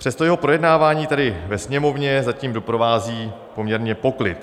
Přesto jeho projednávání tady ve Sněmovně zatím doprovází poměrně poklid.